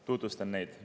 Tutvustan neid.